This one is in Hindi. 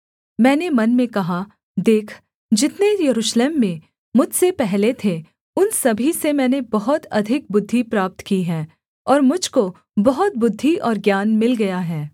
मैंने मन में कहा देख जितने यरूशलेम में मुझसे पहले थे उन सभी से मैंने बहुत अधिक बुद्धि प्राप्त की है और मुझ को बहुत बुद्धि और ज्ञान मिल गया है